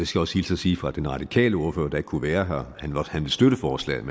skal også hilse at sige fra den radikale ordfører der ikke kunne være her at han vil støtte forslaget